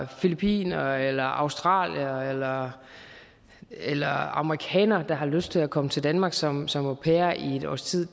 filippiner eller australier eller amerikaner der har lyst til at komme til danmark som som au pair i et års tid